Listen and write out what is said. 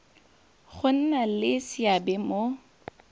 go nna le seabe mo